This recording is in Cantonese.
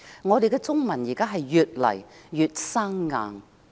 我們的中文越來越生硬。